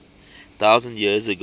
thousand years ago